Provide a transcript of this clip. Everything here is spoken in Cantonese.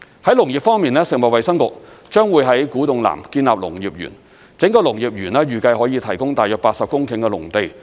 在農業方面，食物及衞生局將會在古洞南建立農業園，整個農業園預計可以提供大約80公頃的農地。